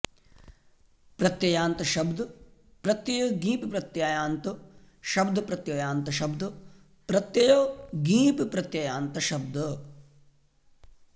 प्रत्ययान्त शब्द प्रत्यय ङीप् प्रत्ययान्त शब्द प्रत्ययान्त शब्द प्रत्यय ङीप् प्रत्ययान्त शब्द